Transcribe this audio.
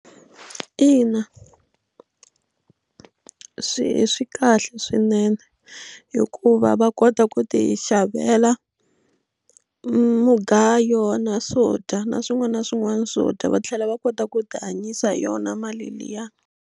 Ina, swi swi kahle swinene hikuva va kota ku tixavela mugayo na swodya na swin'wana na swin'wana swodya va tlhela va kota ku ti hanyisa hi yona mali liya.